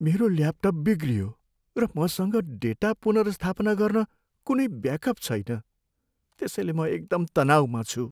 मेरो ल्यापटप बिग्रियो र मसँग डेटा पुनर्स्थापना गर्न कुनै ब्याकअप छैन त्यसैले म एकदम तनाउमा छु।